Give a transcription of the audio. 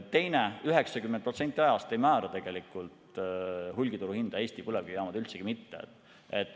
Teisalt, 90% ajast ei määra hulgituruhinda Eesti põlevkivijaamad, üldsegi mitte.